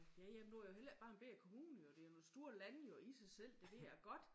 Ja ja men nu er det jo heller ikke bare en bette kommune jo det jo store lande jo i sig selv det ved jeg godt